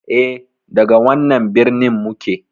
E, daga wannan birnin muke.